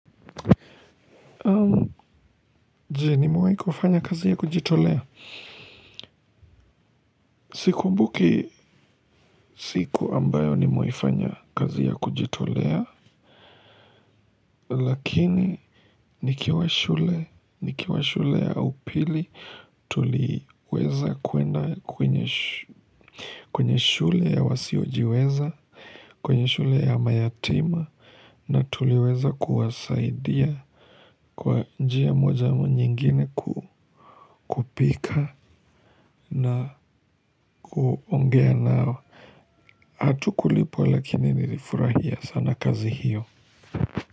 Jee nimewai kufanya kazi ya kujitolea. Sikumbuki siku ambayo nimewai kufanya kazi ya kujitolea. Lakini nikiwa shule nikiwa shule ya upili tuliuweza kuenda kwenye shule ya wasiojiweza. Kwenye shule ya mayatima na tuliweza kuwasaidia. Kwa njia moja ama nyingine kupika na kuongea nao. Atukulipwa lakini nilifurahia sana kazi hiyo.